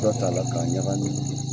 Dɔ t'a la k'a yagamin